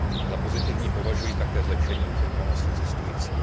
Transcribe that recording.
Za pozitivní považuji také zlepšení informovanosti cestujících